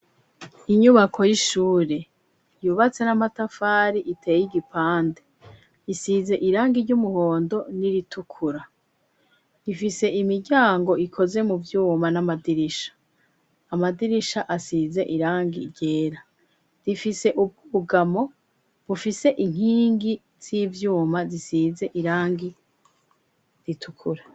Inyubako y'ishure yubatse n'amatafari iteye igipande isize irangi ry'umuhondo n'iritukura rifise imiryango ikoze mu vyuma n'amadirisha amadirisha asize irangi ryera rifise ubwugamo bufise inkingi gi c'ivyuma zisize irangi ritukura.